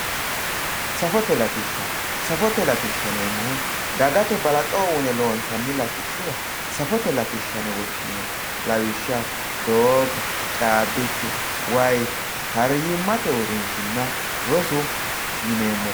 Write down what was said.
safote latishsha safote latishshaati yineemmohu dagate balaxo uune loonsanni latishshubba safote latishsha yine woshshineemmo lawishshaho doogo caabbichu wayii fayyimmate uurrinshshinna rosu yineemmori.